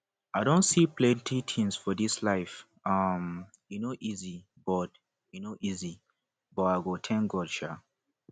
i don see plenty things for this life um e no easy but no easy but i thank god um